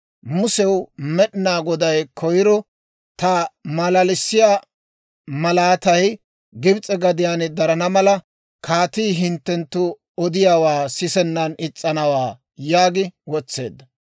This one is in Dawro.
Musew Med'inaa Goday koyro, «Ta malalissiyaa malaatay Gibs'e gadiyaan darana mala, kaatii hinttenttu odiyaawaa sisennan is's'anawaa» yaagi wotseedda.